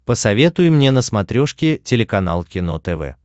посоветуй мне на смотрешке телеканал кино тв